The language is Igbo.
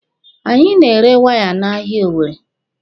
Anyị na-ere waya n'ahịa Owere.